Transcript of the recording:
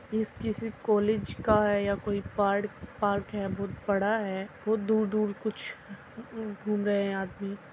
इस किसी कॉलेज का हैं या कोई पाड़-पार्क है बोहोत बडा है बोहोत दूर-दूर कुछ घूम रहे हैं आदमी --